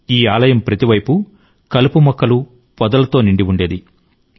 ఈ ఆలయం ప్రతి వైపు కలుపు మొక్కలు పొదలతో నిండి ఉండేది